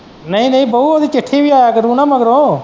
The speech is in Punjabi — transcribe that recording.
ਨਹੀਂ ਨਹੀਂ ਬਊ ਇਹਦੀ ਚਿੱਠੀ ਆਇਆ ਕਰੀਏ ਨਾ ਮਗਰੋਂ।